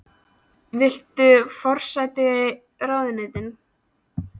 Jóhann: Viltu forsætisráðuneytið?